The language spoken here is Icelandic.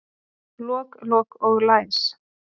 Lok, lok og læs